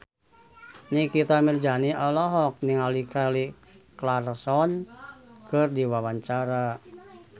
Nikita Mirzani olohok ningali Kelly Clarkson keur diwawancara